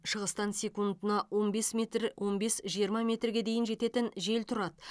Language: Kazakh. шығыстан секундына он бес метр он бес жиырма метрге дейін жететін жел тұрады